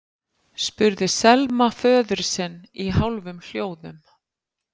spurði Selma föður sinn í hálfum hljóðum.